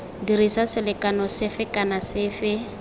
dirisa selekano sefe kana sefe